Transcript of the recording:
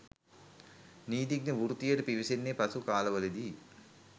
නීතිඥ වෘත්තියට පිවිසෙන්නේ පසු කාලවලදීයි.